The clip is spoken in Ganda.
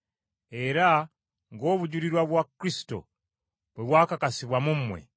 era ng’obujulirwa bwa Kristo bwe bwakakasibwa mu mmwe,